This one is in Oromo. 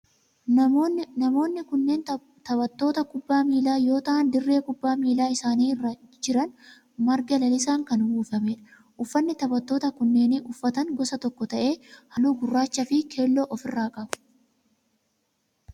Namoonni kunneen taphattoota kubbaa miilaa yoo ta'aan dirreen kubbaa miilaa isaan irra jiran marga lalisaan kan uwwifamedha. Uffanni taphattoonni kunneen uffatan gosa tokko ta'ee halluu akka gurraachaa fi keelloo of irraa qaba.